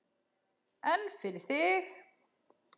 En fyrir þig?